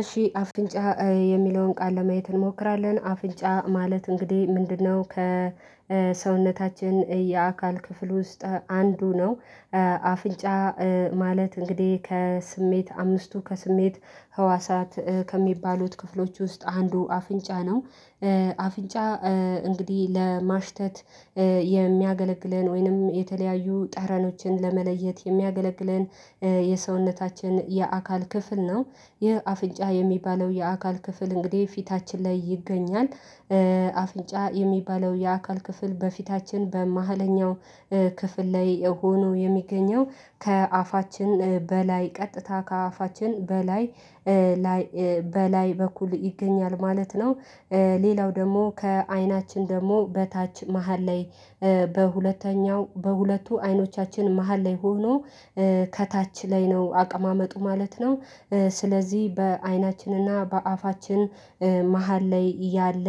እሺ አፍንጫ የሚለውን ቃል ለማየት እንሞክራለን አፍንጫ ማለት እንግዲህ ምንድነው ከሰውነታችን የአካል ክፍል ውስጥ አንዱ ነው። አፍንጫ ማለት እንግዲህ ከስሜት አምስቱ ከስሜት ህዋሳት ከሚባሉት ክፍሎች ውስጥ አንዱ አፍንጫ ነው። አፍንጫ እንግዲህ ለማሽተት የሚያገለግለን ወይንም የተለያዩ ጠረኖችን ለመለየት የሚያገለግለን የሰውነታችን የአካል ክፍል ነው። ይህ አፍንጫ የሚባለው የአካል ክፍል እንግዲህ ፊታችን ላይ ይገኛል። አፍንጫ የሚባለው የአካል ክፍል በፊታችን በመሃለኛው ክፍል ላይ ሆኖ የሚገኘው ከአፋችን በላይ ቀጥታ ከአፋችን በላይ በላይ በኩል ይገኛል ማለት ነው። ሌላው ደግሞ ከአይናችን ደግሞ በታች መሃል ላይ በሁለተኛው በሁለቱ አይኖቻችን መሃል ላይ ሆኖ ከታች ላይ ነው አቀማመጡ ማለት ነው። ስለዚህ በአይናችንና በአፋችን መሃል ላይ ያለ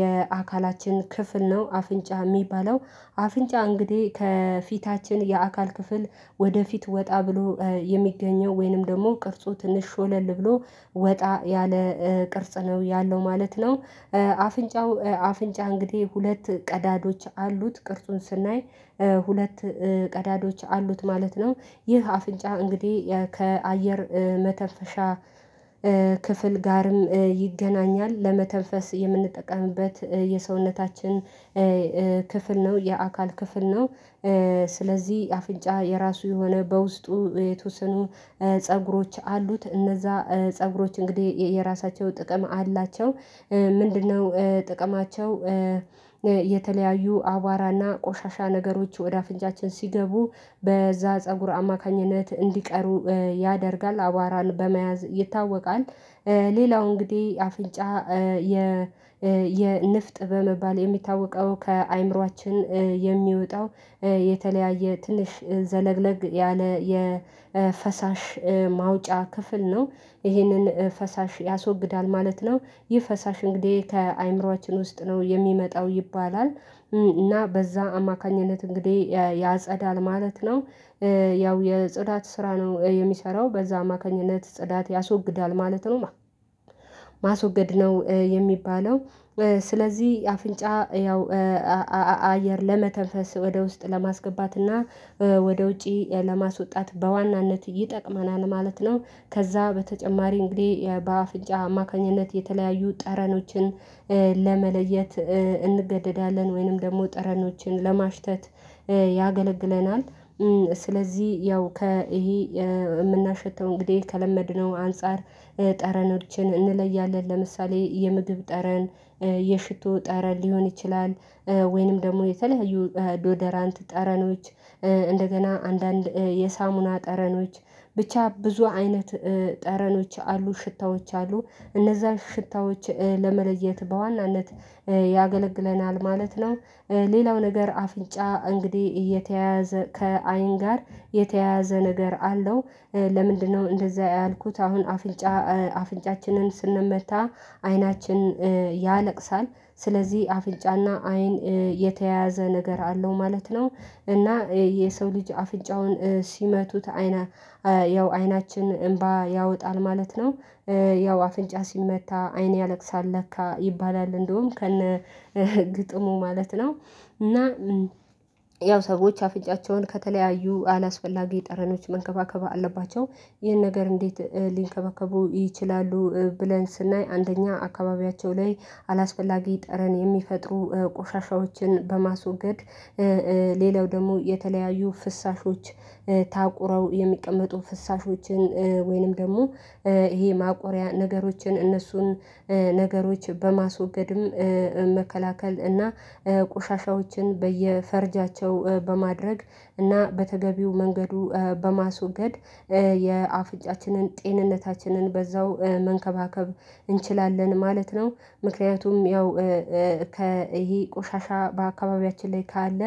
የአካላችን ክፍል ነው አፍንጫ። እሚባለው አፍንጫ እንግዲህ ከፊታችን የአካል ክፍል ወደፊት ወጣ ብሎ የሚገኘው ወይንም ደግሞ ቅርጾ ትንሽ ሾለል ብሎ ወጣ ያለ ቅርጽ ነው ያለው ማለት ነው። አፍንጫው አፍንጫ እንግዲህ ሁለት ቀዳዶች አሉት ቅርጹን ስናይ ሁለት ቀዳዳዎች አሉት ማለት ነው። ይህ አፍንጫ እንግዲህ ከአየር መተንፈሻ ጋርም ይገናኛል ለመተንፈስ የምንጠቀምበት የሰውነታችን ክፍል ነው የአካል ክፍል ነው። ስለዚህ አፍንጫ የራሱ የሆነ በውስጡ የተወሰኑ ፀጉሮች አሉት እነዛ ፀጉሮች እንግዲህ የራሳቸው ጥቅም አላቸው ምንድነው ጥቅማቸው? የተለያዩ አቧራና ቆሻሻ ነገሮች ወደ አፍንጫችን ሲገቡ በዛ ፀጉር አማካኝነት እንዲቀሩ ያደርጋል አቧራን በመያዝ ይታወቃል። ሌላው እንግዲህ አፍንጫ የንፍጥ በመባል የሚታወቀው ከአእምሮአችን የሚወጣው የተለያየ ትንሽ ዘለግለግ ያለ የፈሳሽ ማውጫ ክፍል ነው። ይሄንን ፈሳሽ ያስወግዳል ማለት ነው። ይህ ፈሳሽ እንግዲህ ከአእምሮአችን ውስጥ ነው የሚመጣው ይባላል። እና በዛ አማካኝነት እንግዲህ ያጸዳል ማለት ነው። ያው የጽዳት ስራ ነው የሚሰራው በዛ አማካኝነት ጽዳት ያስወግዳል ማለት ነው። ማስወገድ ነው የሚባለው። ስለዚህ አፍንጫ ያው አየር ለመተንፈስ ወደ ውስጥ ለማስገባትና ወደ ውጪ ለማስወጣት በዋናነት ይጠቅመናል ማለት ነው። ከዛ በተጨማሪ እንግዲህ በአፍንጫ አማካኝነት የተለያዩ ጠረኖችን ለመለየት እንገደዳለን ወይንም ደግሞ ጠረኖችን ለማሽተት ያገለግለናል። ስለዚህ ያው ከይሄ እምናሸተው እንግዲህ ከለመድነው አንፃር ጠረኖችን እንለያለን ለምሳሌ የምግብ ጠረን የሽቶ ጠረን ሊሆን ይችላል። ወይንም ደግሞ የተለያዩ ዶደራንት ጠረኖች እንደገና አንዳንድ የሳሙና ጠረኖች ብቻ ብዙ አይነት ጠረኖች አሉ ሽታዎች አሉ እነዛ ሽታዎች ለመለየት በዋናነት ያገለግለናል ማለት ነው። ሌላው ነገር አፍንጫ እንግዲህ እየተያያዘ ከአይን ጋር የተያዘ ነገር አለው ለምንድነው? እንደዚህ ያልኩት አሁን አፍንጫ አፍንጫችንን ስንመታ አይናችን ያለቅሳል። ስለዚህ አፍንጫና አይን የተያዘ ነገር አለው ማለት ነው። እና የሰው ልጅ አፍንጫውን ሲመቱት አይና ያው አይናችን እምባ ያወጣል ማለት ነው። ያው አፍንጫ ሲመታ አይን ያለቅሳል ለካ ይባላል እንደውም ከነ ግጥሙ ማለት ነው። እና ያው ሰዎች አፍንጫቸውን ከተለያዩ አላስፈላጊ ጠረኖች መንከባከብ አለባቸው። ይህን ነገር እንዴት ሊንከባከቡ ይችላሉ? ብለን ስናይ አንደኛ አካባቢያቸው ላይ አላስፈላጊ ጠረን የሚፈጥሩ ቆሻሻዎችን በማስወገድ ሌላው ደግሞ የተለያዩ ፍሳሾች ታቁረው የሚቀመጡ ፍሳሾችን ወይንም ደግሞ ይሄ ማቆሪያ ነገሮችን እነሱን ነገሮች በማስወገድም መከላከል እና ቆሻሻዎችን በየፈርጃቸው በማድረግ እና በተገቢው መንገዱ በማስወገድ የአፍንጫችንን ጤንነታችንን በዛው መንከባከብ እንችላለን ማለት ነው። ምክንያቱም ያው ከኢሄ ቆሻሻ በአካባቢያችን ላይ ካለ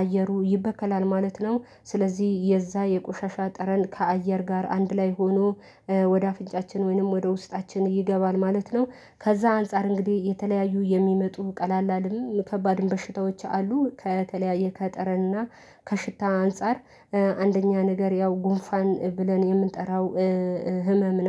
አየሩ ይበከላል ማለት ነው። ስለዚህ የዛ የቆሻሻ ጠረን ከአየር ጋር አንድ ላይ ሆኖ ወደ አፍንጫችን ወይንም ወደ ውስጣችን ይገባል ማለት ነው። ከዛ አንፃር እንግዲህ የተለያዩ የሚመጡ ቀላልም ከባድም በሽታዎች አሉ ከተለያየ ከጠረና ከሽታ አንፃር አንደኛ ነገር ያው ጉንፋን ብለን የምንጠራው ህመም ነው